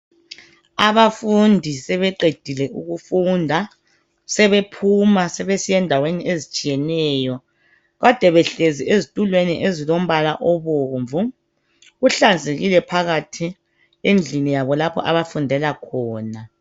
Abafundi sebeqedile ukufunda. Sebephuma sebesiya endaweni ezitshiyeneyo. Kade behlezi ezitulweni ezilombala obomvu. Kuhlanzekile phakathi endlini yabo lapho abafundela khona.